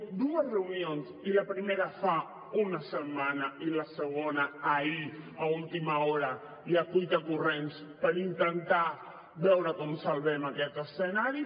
dues reunions i la primera fa una setmana i la segona ahir a última hora i a cuitacorrents per intentar veure com salvem aquest escenari